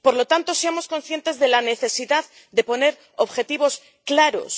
Por lo tanto, seamos conscientes de la necesidad de poner objetivos claros.